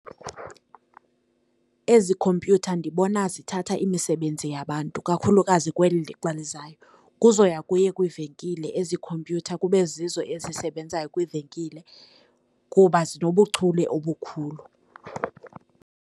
Ezi khompyutha ndibona zithatha imisebenzi yabantu kakhulukazi kweli lixa lizayo. Kuza kuya kuye kwiivenkile ezi khompyutha kube zizo ezisebenzayo kwiivenkile kuba zinobuchule obukhulu.